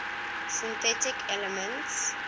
synthetic elements